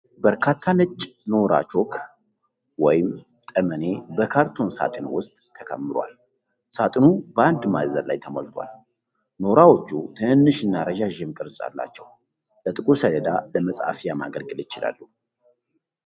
በርካታ ነጭ ኖራ ቾክ ወይምጠመኔ በካርቶን ሳጥን ውስጥ ተከምሯል። ሳጥኑ በአንድ ማዕዘን ላይ ተሞልቷል። ኖራዎቹ ትንንሽና ረዣዥም ቅርጽ አላቸው። ለጥቁር ሰሌዳ ለመጻፊያ ማገልገል ይችላሉ።